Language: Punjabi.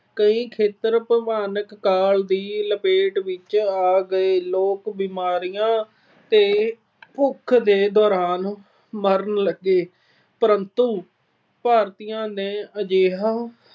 ਕਈ ਖੇਤਰ ਭਿਆਨਕ ਕਾਲ ਦੀ ਲਪੇਟ ਵਿੱਚ ਆ ਗਏ। ਲੋਕ ਬੀਮਾਰੀਆਂ ਤੇ ਭੁੱਖ ਦੇ ਨਾਲ ਮਰਨ ਲੱਗੇ ਪਰੰਤੂ ਭਾਰਤੀਆਂ ਦੀ ਅਜਿਹੀ